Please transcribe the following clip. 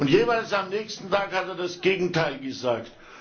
Und jeweils am nächsten Tag hat er das Gegenteil gesagt.